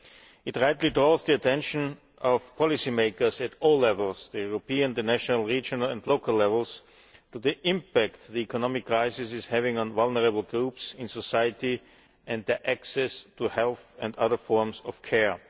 It rightly draws the attention of policy makers at all levels European, national, regional and local levels to the impact the economic crisis is having on vulnerable groups in society and their access to health and other forms of care.